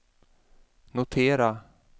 notera